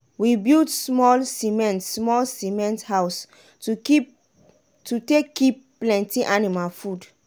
we build smol cement smol cement house to take kip plenty anima food.